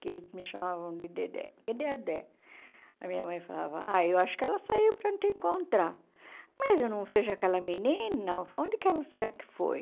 que eles me chamavam de Dedé, cadê a Dé, a minha mãe falava, ah, eu acho que ela saiu para te encontrar, mas eu não vejo aquela menina, onde que ela será que foi?